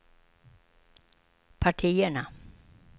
partierna